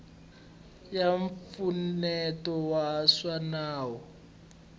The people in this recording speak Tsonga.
ya mpfuneto wa swa nawu